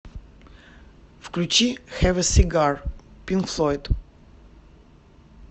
включи хэв э сигар пинк флойд